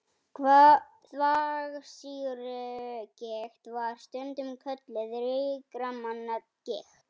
Þvagsýrugigt var stundum kölluð ríkra manna gigt.